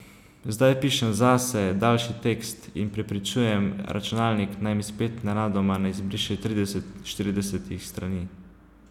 Zdaj pišem zase, daljši tekst, in prepričujem računalnik, naj mi spet nenadoma ne izbriše tridesetih, štiridesetih strani.